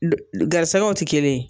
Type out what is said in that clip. garisigɛw tɛ kelen ye.